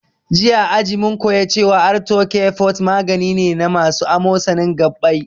Jiya a aji mun koya cewa arthocare forte magani ne na masu amosanin gabbai